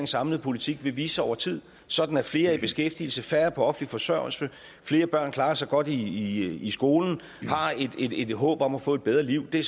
samlede politik vil vise sig over tid sådan at flere er i beskæftigelse færre er på offentlig forsørgelse flere børn klarer sig godt i skolen og har et håb om at få et bedre liv det